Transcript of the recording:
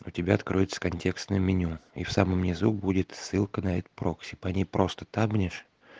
у тебя откроется контекстное меню и в самом низу будет ссылка на этот прокси по ней просто табнешь